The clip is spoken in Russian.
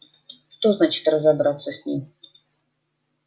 что значит разобраться с ними